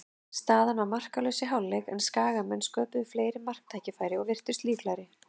Staðan var markalaus í hálfleik, en Skagamenn sköpuðu fleiri marktækifæri og virtust líklegri.